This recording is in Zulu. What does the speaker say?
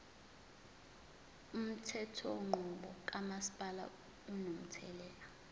umthethonqubo kamasipala unomthelela